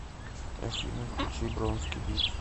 афина включи бронски бит